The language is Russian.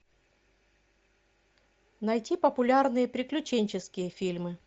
найти популярные приключенческие фильмы